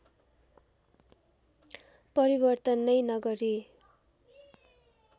परिवर्तन नै नगरी